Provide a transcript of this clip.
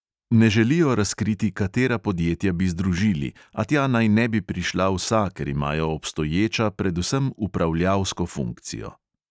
Ne želijo razkriti, katera podjetja bi združili, a tja naj ne bi prišla vsa, ker imajo obstoječa predvsem upravljalsko funkcijo.